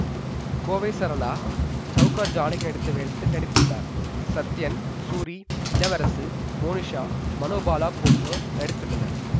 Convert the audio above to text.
கோவை சரளா சௌகார் ஜானகி நடித்த வேடத்தில் நடித்துள்ளார் சத்யன் சூரி இளவரசு மோனிஷா மனோ பாலா போன்றோர் நடித்துள்ளனர்